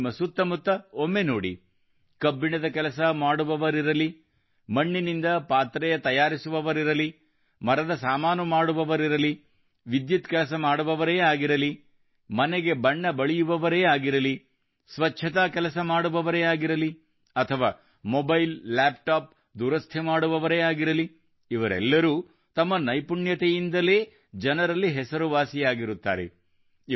ನೀವು ನಿಮ್ಮ ಸುತ್ತ ಮುತ್ತ ಒಮ್ಮೆ ನೋಡಿ ಕಬ್ಬಿಣದ ಕೆಲಸ ಮಾಡುವವರಿರಲಿ ಮಣ್ಣಿನಿಂದ ಪಾತ್ರೆ ತಯಾರಿಸುವವರಿರಲಿ ಮರದ ಸಾಮಾನು ಮಾಡುವವರಿರಲಿ ವಿದ್ಯುತ್ ಕೆಲಸ ಮಾಡುವವರೇ ಆಗಿರಲಿ ಮನೆಗೆ ಬಣ್ಣ ಬಳಿಯುವವರೇ ಆಗಿರಲಿ ಸ್ವಚ್ಛತಾ ಕೆಲಸ ಮಾಡುವವರೇ ಆಗಿರಲಿ ಅಥವಾ ಮೊಬೈಲ್ ಲ್ಯಾಪ್ಟಾಪ್ ದುರಸ್ತಿ ಮಾಡುವವರೇಆಗಿರಲಿಇವರೆಲ್ಲರೂ ತಮ್ಮ ನೈಪುಣ್ಯತೆಯಿಂದಲೇ ಜನರಲ್ಲಿ ಹೆಸರುವಾಸಿಯಾಗಿರುತ್ತಾರೆ